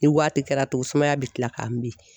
Ni waati kɛra tun sumaya bɛ tila k'a n bin